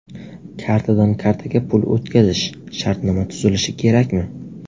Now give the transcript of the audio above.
Kartadan kartaga pul o‘tkazish: shartnoma tuzilishi kerakmi?.